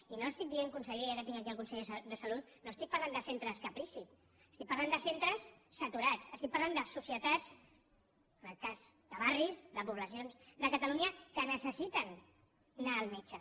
i no estic dient conseller ja que tinc aquí el conseller de salut no estic parlant de centres caprici estic parlant de centres saturats estic parlant de societats en aquest cas de barris de poblacions de catalunya que necessiten anar al metge